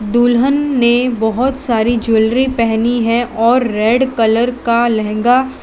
दुल्हन ने बहोत सारी ज्वेलरी पहनी है और रेड कलर का लहंगा--